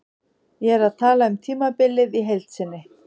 Ég er að tala um tímabilið í heild sinni.